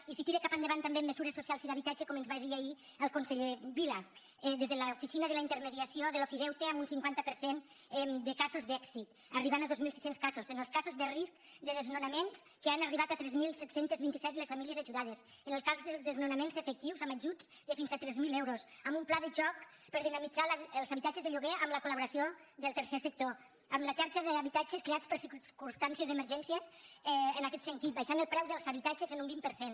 i es tira cap endavant també amb mesures socials i d’habitatge com ens va dir ahir el conseller vila des de l’oficina de la intermediació de l’ofideute amb un cinquanta per cent de casos d’èxit arribant a dos mil sis cents casos en els casos de risc de desnonaments en què han arribat a tres mil set cents i vint set les famílies ajudades en el cas dels desnonaments efectius amb ajuts de fins a tres mil euros amb un pla de xoc per dinamitzar els habitatges de lloguer amb la col·laboració del tercer sector amb la xarxa d’habitatges creats per a circumstàncies d’emergència en aquet sentit abaixant el preu dels habitatges un vint per cent